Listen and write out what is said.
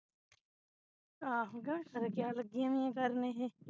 ਆਹੋ ਕੇ ਕਿਆ ਲਗੀਆਂ ਹੋਈਆਂ ਕਰਨ ਇਹੇ